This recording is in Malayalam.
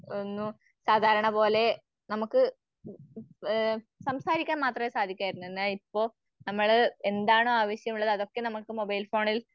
ആന്നു സാധാരണപോലെ നമുക്ക് ഏഹ് സംസാരിക്കാൻ മാത്രെ സാധിക്കുവാരുന്നു. എന്നാൽ ഇപ്പൊ നമ്മള് എന്താണോ ആവശ്യമുള്ളത് അതൊക്കെ നമുക്ക് മൊബൈൽ ഫോണിൽ